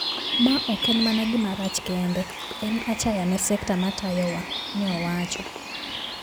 Maoken mana gima rach kende. En achaya ne sekta matayo wa," neowacho.